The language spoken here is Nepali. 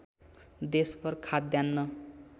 देशभर खाद्यान्न